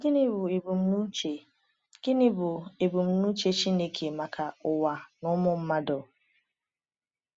Gịnị bụ ebumnuche Gịnị bụ ebumnuche Chineke maka ụwa na ụmụ mmadụ?